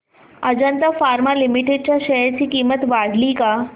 Ajanta pharma limited च्या share ची किंमत वाढली का